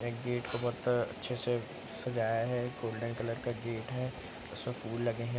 ये गेट को बहुत अच्छे से सजाया है गोल्डन कलर का गेट है उसमे फूल लगे है।